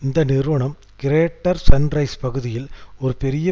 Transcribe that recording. இந்த நிறுவனம் Greater Sunrise பகுதியில் ஒரு பெரிய